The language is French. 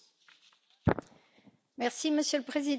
Monsieur le Président, je vais m'exprimer en français.